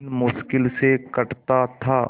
दिन मुश्किल से कटता था